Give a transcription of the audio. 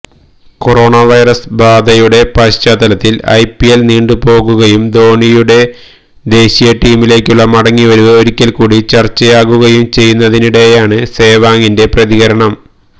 corona virus ബാധയുടെ പശ്ചാത്തലത്തില് IPL നീണ്ടുപോകുകയും ധോണിയുടെ ദേശീയ ടീമിലേക്കുള്ള മടങ്ങിവരവ് ഒരിക്കല്ക്കൂടി ചര്ച്ചയാകുകയും ചെയ്യുന്നതിനിടെയാണ് സേവാഗിന്റെ പ്രതികരണം